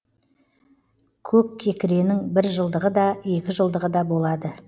көккекіренің біржылдығы да екіжылдығы да болады